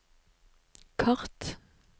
kart